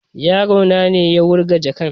Yaro na ne ya wurga jakan